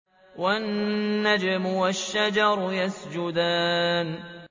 وَالنَّجْمُ وَالشَّجَرُ يَسْجُدَانِ